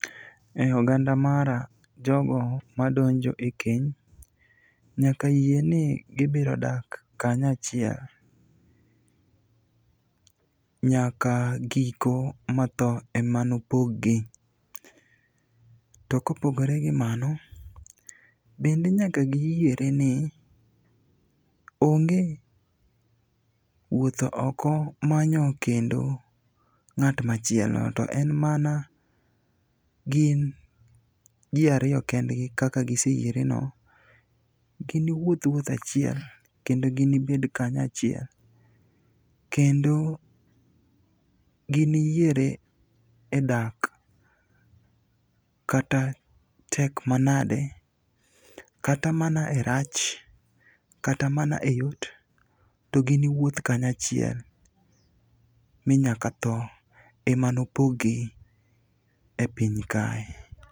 E oganda mara, jogo madonjo e keny nyaka yie ni gibiro daka kanyachiel, nyaka giko ma tho ema nopog gi. To kopogore gi mano, bende nyaka giyiere ni onge wuotho oko manyo kendo ng'at machielo. To en mana gin ji ariyo kendgi kaka giseyiereno, giniwuoth wuoth achiel kendo ginibed kanyachiel. Kendo giniyiere e dak kata tek manade kata mana e rach, kata mana e yot, to giniwuoth kanyachiel ma nyaka tho emanopog gi e piny kae.